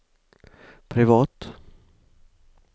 privat